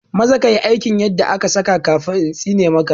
Maza ka yi aikin yadda aka saka kafin intsine ma ka